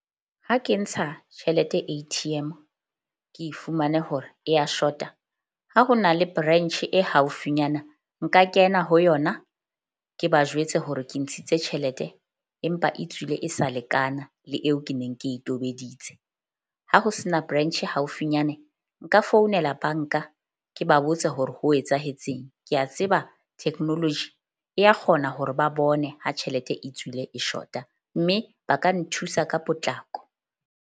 Ha ke ntsha tjhelete A_T_M ke fumane hore e ya short-a ha ho na le branch e haufinyana. Nka kena ho yona, ke ba jwetse hore ke ntshitse tjhelete empa e tswile e sa lekana le eo ke neng ke e tobeditse. Ha ho se na branch haufinyane nka founela bank-a. Ke ba botse hore ho etsahetseng. Ke a tseba technology ya kgona hore ba bone ha tjhelete e tswile e short-a, mme ba ka nthusa ka potlako.